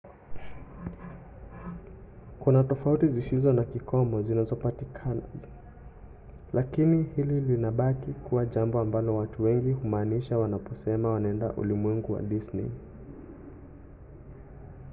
kuna tofauti zisizo na kikomo zinazopatikana lakini hili linabaki kuwa jambo ambalo watu wengi humaanisha wanaposema wanaenda ulimwengu wa disney”.